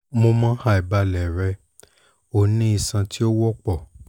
mo mọ aibalẹ rẹ o ni iṣan ti o wọpọ